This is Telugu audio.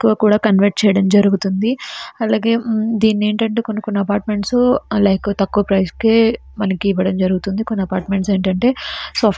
చెయ్యడం జరుగుతొంది కొన్ని అపార్ట్‌మెంట్లు థోకుయా ధర ఇవ్వడం జరుగుతుంది.